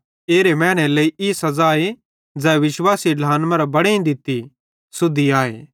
एरे मैनेरे लेइ ई सज़ा ज़ै विश्वासी ढ्लान मरां बड़ेईं दित्ती सुद्धी आए